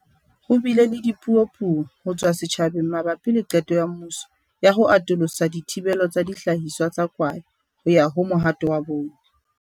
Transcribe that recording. Ho bile le dipuo-puo ho tswa setjhabeng mabapi le qeto ya mmuso ya ho atolosa thibelo ya dihlahiswa tsa kwae ho ya ho mohato wa bone.